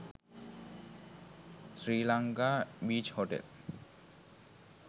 sri lanka beach hotel